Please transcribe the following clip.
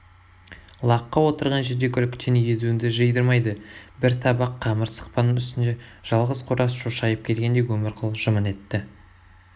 лаққы отырған жерде күлкіден езуіңді жидырмайды бір табақ қамыр сықпаның үстінде жалғыз қораз шошайып келгенде өмірқұл жымың етті